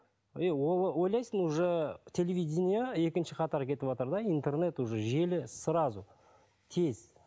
и ойлайсың уже телевидение екінші қатар кетыватыр да интернет уже желі сразу тез